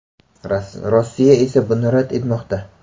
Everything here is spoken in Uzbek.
Rossiya esa buni rad etmoqda.